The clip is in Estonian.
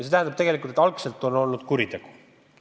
See tähendab tegelikult, et algselt on olnud kuritegu.